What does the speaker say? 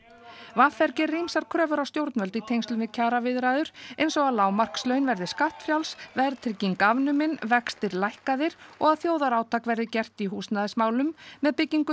v r gerir ýmsar kröfur á stjórnvöld í tengslum við kjaraviðræður eins og að lágmarkslaun verði skattfrjáls verðtrygging afnumin vextir lækkaðir og að þjóðarátak verði gert í húsnæðismálum með byggingu